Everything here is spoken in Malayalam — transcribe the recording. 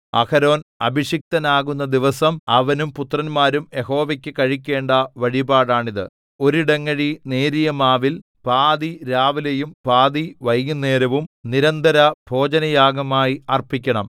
അഹരോൻ അഭിഷിക്തനാകുന്ന ദിവസം അവനും പുത്രന്മാരും യഹോവയ്ക്കു കഴിക്കേണ്ട വഴിപാടാണിത് ഒരു ഇടങ്ങഴി നേരിയ മാവിൽ പാതി രാവിലെയും പാതി വൈകുന്നേരവും നിരന്തരഭോജനയാഗമായി അർപ്പിക്കണം